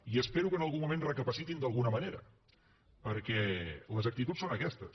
i espero que en algun moment reflexionin d’alguna manera perquè les actituds són aquestes